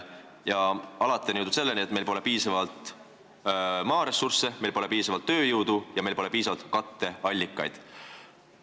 Alati on jõutud selleni, et pole piisavalt maaressurssi, meil pole piisavalt tööjõudu ja meil pole piisavalt katteallikaid.